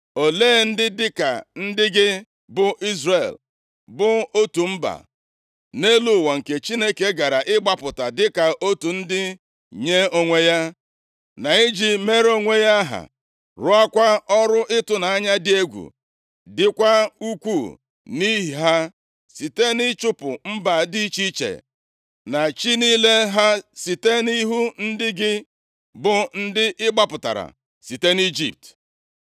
Olee ndị dịka ndị gị, bụ Izrel, bụ otu mba nʼelu ụwa nke Chineke gara ịgbapụta dịka otu ndị nye onwe ya, na iji mere onwe ya aha, rụọkwa ọrụ ịtụnanya dị egwu dịkwa ukwuu nʼihi ha, site nʼịchụpụ mba dị iche iche na chi niile ha site nʼihu ndị gị, bụ ndị ị gbapụtara site nʼIjipt?